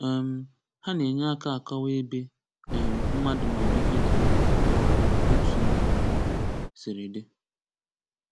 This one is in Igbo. um Ha na-enye aka akọwa ebe um mmadụ maọbụ ihe dị, maọbụ otu ihe siri dị.